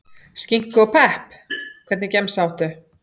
Skinku og pepp Hvernig gemsa áttu?